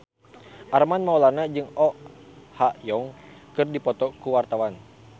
Armand Maulana jeung Oh Ha Young keur dipoto ku wartawan